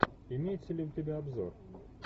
имеется ли у тебя обзор